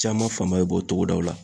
Caman fan ba be bɔ togodaw la.